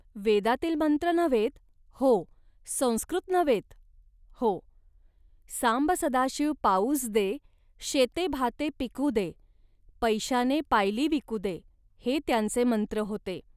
वेदातील मंत्र नव्हेत, हो, संस्कृत नव्हेत, हो. ."सांब सदाशिव पाऊस दे.शेते भाते पिकू दे.पैशाने पायली विकू दे"..हे त्यांचे मंत्र होते